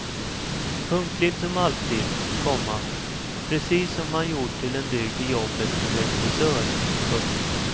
Punktlig som alltid, komma precis som han gjort till en dygd i jobbet som regissör. punkt